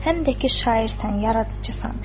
Həm də ki, şairsən, yaradıcısan.